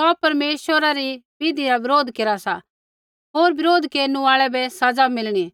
सौ परमेश्वरा रै बिधि रा बरोध केरा सा होर बिरोध केरनु आल़ै बै सज़ा मिलणी